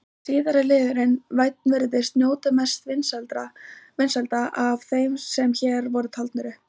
Síðari liðurinn- vænn virðist njóta mestra vinsælda af þeim sem hér voru taldir upp.